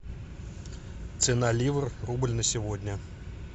цена ливр рубль на сегодня